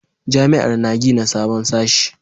Jami'ar na gina sabon sashe